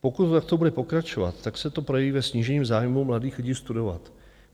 Pokud to takto bude pokračovat, tak se to projeví ve snížení zájmu mladých lidí studovat.